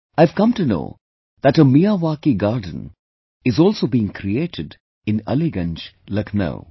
I have come to know that a Miyawaki garden is also being created in Aliganj, Lucknow